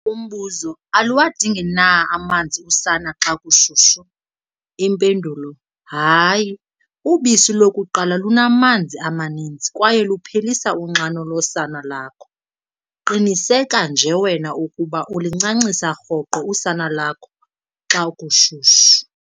Umbuzo- Aluwadingi na amanzi usana lwam xa kushushu? Impendulo- Hayi, ubisi lokuqala lunamanzi amaninzi kwaye luphelisa unxano losana lakho. Qiniseka nje wena ukuba ulincancisa rhoqo usana lakho xa kushushu.